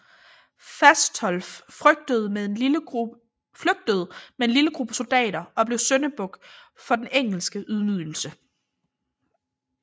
Fastolf flygtede med en lille gruppe soldater og blev syndebuk for den engelske ydmygelse